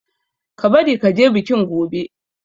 Ka bari ka je bikin gobe!